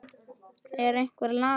Er einhver lasinn?